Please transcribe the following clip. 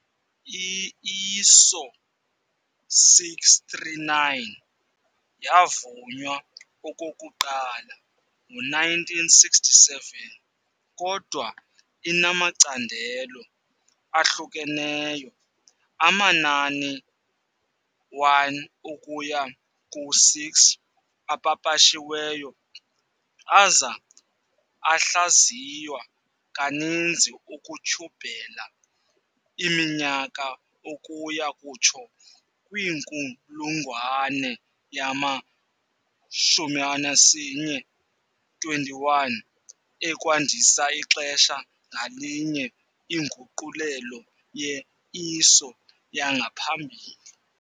I-ISO 639 yavunywa okokuqala ngo-1967, kodwa inamacandelo ahlukeneyo, amanani-1 ukuya ku-6, apapashiweyo aza ahlaziywa kaninzi ukutyhubela iminyaka ukuya kutsho kwinkulungwane yama-21, ekwandisa ixesha ngalinye inguqulelo ye-ISO yangaphambili.